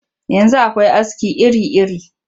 Yanzu akwai aski iri-iri